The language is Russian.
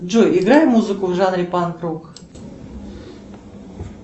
джой играй музыку в жанре панк рок